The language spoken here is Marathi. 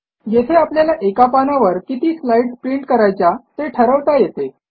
येथे आपल्याला एका पानावर किती स्लाईडस् प्रिंट करायच्या ते ठरवता येते